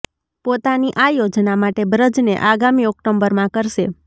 પોતાની આ યોજના માટે બ્રજને આગામી ઓક્ટોબરમાં કરશે